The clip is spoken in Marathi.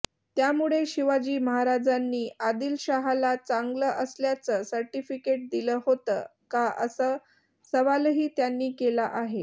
त्यामुळे शिवाजी महाराजांनी आदिलशहाला चांगलं असल्याचं सर्टिफिकेट दिलं होतं का असा सवालही त्यांनी केला आहे